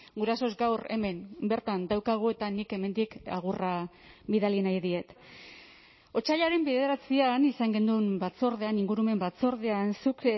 gurasos gaur hemen bertan daukagu eta nik hemendik agurra bidali nahi diet otsailaren bederatzian izan genuen batzordean ingurumen batzordean zuk